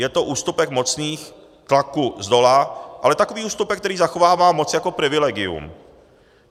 Je to ústupek mocných tlaků zdola, ale takový ústupek, který zachovává moc jako privilegium.